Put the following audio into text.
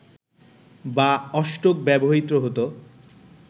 বা অষ্টক ব্যবহৃত হত